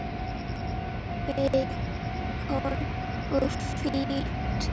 Beikon er fínt!